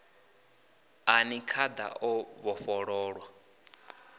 a ni khada o vhofholowa